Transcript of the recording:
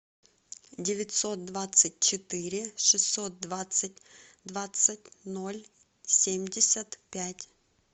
девятьсот двадцать четыре шестьсот двадцать двадцать ноль семьдесят пять